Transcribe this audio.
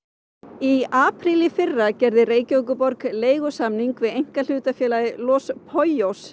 í apríl í fyrra gerði Reykjavíkurborg leigusamning við einkahlutafélagið Los